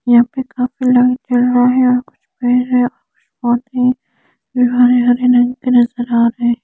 यहाँ पर बहुत बड़ा --